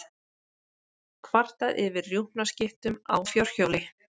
Kvartað yfir rjúpnaskyttum á fjórhjóli